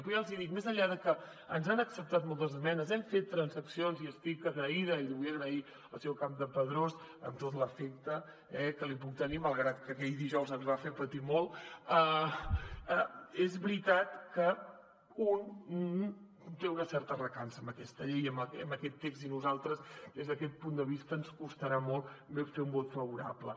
però ja els hi dic més enllà de que ens han acceptat moltes esmenes hem fet transaccions i estic agraïda i ho vull agrair al senyor campdepadrós amb tot l’afecte que li puc tenir malgrat que aquell dijous ens va fer patir molt és veritat que un té una certa recança amb aquesta llei i amb aquest text i a nosaltres des d’aquest punt de vista ens costarà molt fer un vot favorable